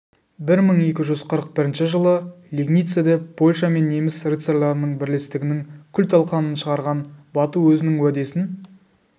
бір мың екі жүз қырық бірінші жылы лигницеде польша мен неміс рыцарьларының бірлестігінің күл-талқанын шығарған бату өзінің уәдесін